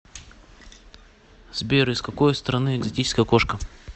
сбер из какой страны экзотическая кошка